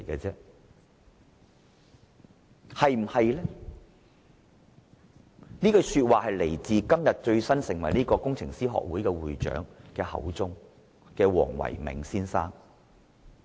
這句說話出自今天剛成為工程師學會會長的黃唯銘先生口中。